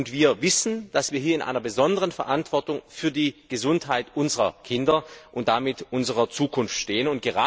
Wir wissen, dass wir hier in einer besonderen Verantwortung für die Gesundheit unserer Kinder und damit unserer Zukunft stehen.